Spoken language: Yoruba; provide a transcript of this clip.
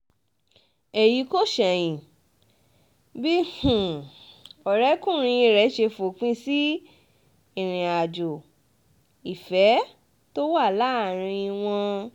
èyí kò ṣẹ̀yìn bí um ọ̀rẹ́kùnrin rẹ̀ ṣe fòpin um sí ìrìnàjò ìfẹ́ tó wà láàrin wọn